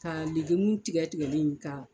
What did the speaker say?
Kaligemu tigɛ tigɛlen ka.